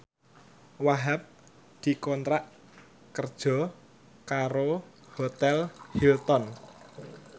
Wahhab dikontrak kerja karo Hotel Hilton